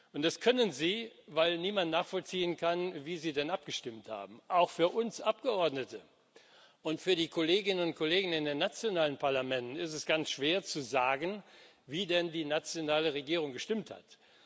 Und das können sie, weil niemand nachvollziehen kann, wie sie denn abgestimmt haben. Auch für uns Abgeordnete und für die Kolleginnen und Kollegen in den nationalen Parlamenten ist es ganz schwer zu sagen, wie denn die nationale Regierung gestimmt hat.